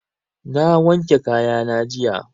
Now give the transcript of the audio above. Na wanke kaya na jiya